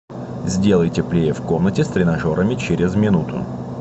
сделай теплее в комнате с тренажерами через минуту